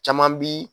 Caman bi